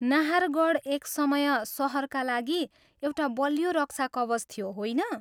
नाहारगढ एक समय सहरका लागि एउटा बलियो रक्षा कवच थियो, होइन?